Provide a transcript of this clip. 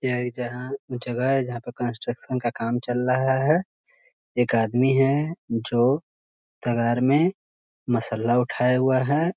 यह जहाँ जगह है जहाँ पे कंस्ट्रक्शन का काम चल रहा है एक आदमी है जो तगाड़ में मसाला उठाए हुआ है ।